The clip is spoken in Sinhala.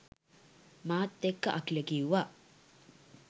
මාත් එක්ක අකිල කිව්වා.